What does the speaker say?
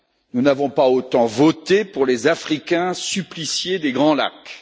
nous n'avons pas autant voté pour les Africains suppliciés des Grands Lacs.